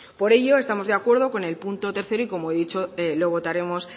por ello estamos de acuerdo con el punto tercero y como he dicho lo votaremos